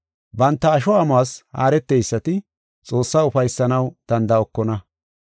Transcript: Banta asho amuwas haareteysati Xoossaa ufaysanaw danda7okona.